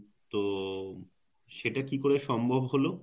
তো সেটা কিভাবে সম্ভব হল?